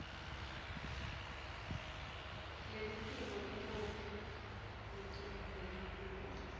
lelitiko ikhophi lecinisekisiwe